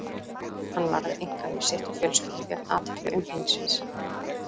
Hann varði einkalíf sitt og fjölskyldu gegn athygli umheimsins.